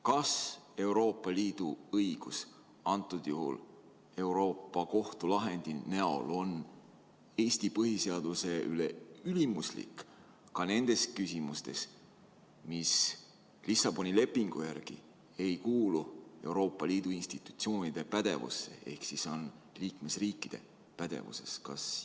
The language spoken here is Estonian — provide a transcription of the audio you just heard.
Kas Euroopa Liidu õigus, antud juhul Euroopa Kohtu lahendi näol, on Eesti põhiseaduse üle ülimuslik ka nendes küsimustes, mis Lissaboni lepingu järgi ei kuulu Euroopa Liidu institutsioonide pädevusse ehk siis on liikmesriikide pädevuses?